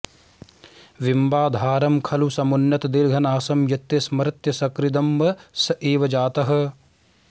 बिम्बाधरं खलु समुन्नतदीर्घनासं यत्ते स्मरत्यसकृदम्ब स एव जातः